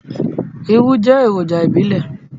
Irú jẹ́ èròjà ìbílẹ̀.